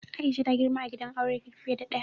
Aisha ta girma a gidan aure fiye da ɗaya.